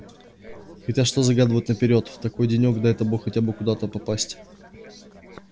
хотя что загадывать наперёд в такой денёк дай бог хотя бы куда надо попасть